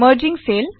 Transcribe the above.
merging cell